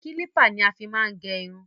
Kílípà ni a fí máa ń gẹ irun.